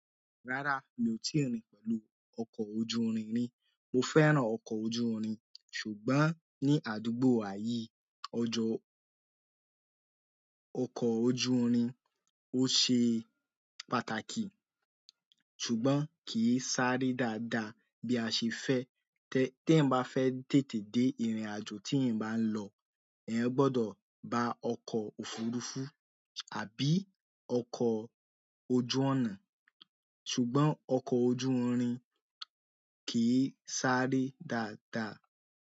Rárá, mi ò tí rìn pẹ̀lú ọkọ̀ ojú irin ri. Mo fẹ́ràn ọkọ̀ ojú irin, ṣùgbọ́n ní àdúgbò wa yìí, ọjọ́ ọkọ̀ ojú irin ó ṣe pàtàkì, ṣùgbọ́n kìí sáré dáadáa bí a ṣe fẹ́. Tẹ, tí ẹ̀yań bá fẹ́ tètè dé ìrìnàjò tí ẹ̀yan bá ń lọ, ẹ̀yan gbọ́dọ̀ bá ọkọ̀ òfurufú àbí ọkọ̀ ojú ọ̀nà. Ṣùgbọ́n ọkọ̀ ojú irin kì í sáré dáadáa.